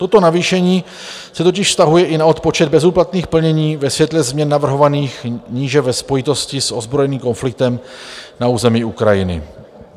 Toto navýšení se totiž vztahuje i na odpočet bezúplatných plnění ve světle změn navrhovaných níže ve spojitosti s ozbrojeným konfliktem na území Ukrajiny.